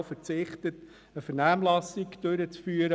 Man hat darauf verzichtet, eine Vernehmlassung durchzuführen.